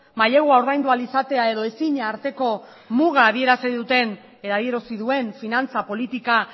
mailegua ordaindu ahal izatea edo ezina arteko muga adierazi duen finantza politika